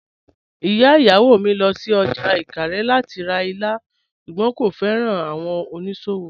Ìyà ìyáwó mí lọ sí ọ́jà Ìkàrè lati rá ìlà, ṣùgbọ́n kò fẹ́ran awọn onísòwò.